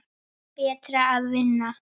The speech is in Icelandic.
Betra að vinna.